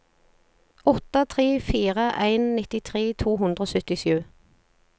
åtte tre fire en nittitre to hundre og syttisju